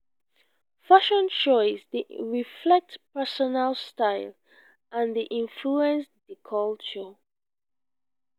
fashion choice dey reflect personal style and dey influence dey culture.